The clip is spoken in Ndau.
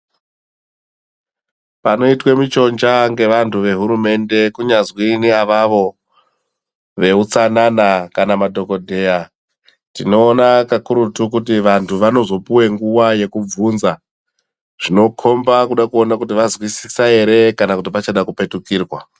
Panoitwe michonja ngevantu vehurumende kunyazwi neavavo veutsanana kana madhokodheya, tinoona kakurutu kuti vantu vanozopuwe nguva yekubvunza zvinokomba kuda kuona kuti vazwisisa ere kana kuti pachada kupetukirwa.